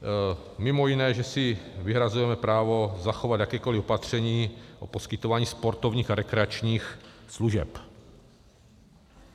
Mimo jiné, že si vyhrazujeme právo zachovat jakékoli opatření o poskytování sportovních a rekreačních služeb.